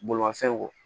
Bolimafɛn